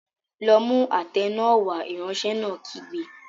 Lọ mú àtẹ náà wá! Ìránṣẹ́ náà kígbe.